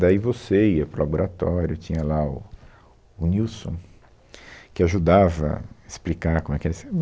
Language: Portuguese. Daí você ia para o laboratório, tinha lá o o Nilson, que ajudava a explicar como é que era esse